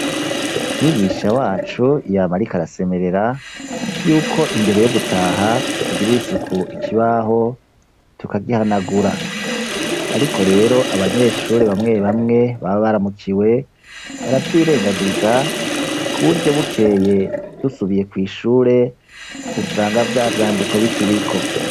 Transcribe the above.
Mwigisha wacu yama ariko arasemerera, yuko imbere yo gutaha tugirira isuku ikibaho tukagihanagura; ariko rero, abanyeshure bamwe bamwe baba baramukiwe, baravyirengagiza ku buryo bukeye dusubiye kw’ishure, usanga vya vyandiko bikiriko.